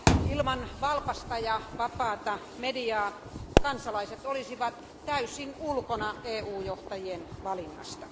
Ilman valpasta ja vapaata mediaa kansalaiset olisivat täysin ulkona EU johtajien valinnasta.